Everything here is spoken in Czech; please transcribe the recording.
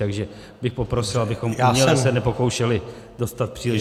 Takže bych poprosil, abychom uměle se nepokoušeli dostat příliš...